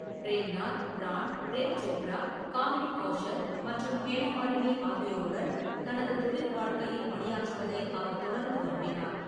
Frame Nath, Pran, Prem Chopra, Kamini Kaushal மற்றும் ஹேமமாலினி ஆகியோருடன் தனது தொழில் வாழ்க்கையில் பணியாற்றுவதை அவர் தொடர்ந்து விரும்பினார்.